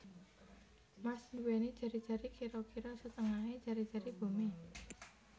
Mars nduwèni jari jari kira kira setengahé jari jari Bumi